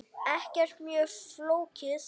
Ekkert mjög flókið.